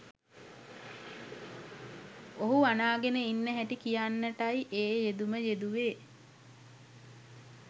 ඔහු අනා ගෙන ඉන්න හැටි කියන්නටයි ඒ යෙදුම යෙදුවේ